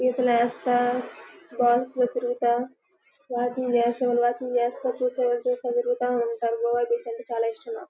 ఈతలు వేస్తా బాల్స్ లో తిరుగుతా వాటిని తిరుగుతా ఉంటారు. గోవా బీచ్ అంటే చాల ఇష్టం నాకు.